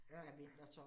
Ja